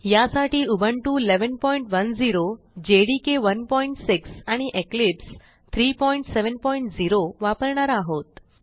यासाठी Ubuntu 1110 JDK 16 आणि Eclipse 370 वापरणार आहोत